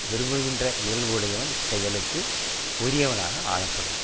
விரும்புகின்ற இயல்புடையவன் செயலுக்கு உரியவனாக ஆளப்படுவான்